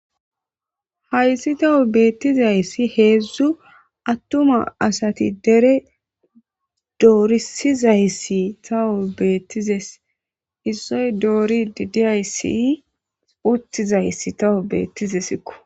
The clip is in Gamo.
Haysi tas betizaysi 3 attuman nayti dere dorisizaysi tas betides attuma nayti dere dorisizaysi tas betides issoy doridi dizaysi uttidi dizaysi tas betidesiko